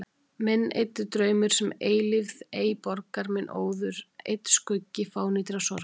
Minn eyddi draumur, sem eilífð ei borgar, minn óður einn skuggi fánýtrar sorgar.